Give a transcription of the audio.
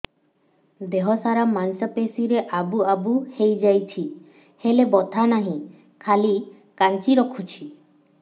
ଦେହ ସାରା ମାଂସ ପେଷି ରେ ଆବୁ ଆବୁ ହୋଇଯାଇଛି ହେଲେ ବଥା ନାହିଁ ଖାଲି କାଞ୍ଚି ରଖୁଛି